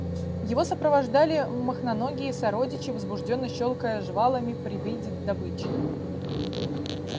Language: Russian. его сопровождали мохноногие сородичи возбуждённо щёлкая жвалами при виде добычи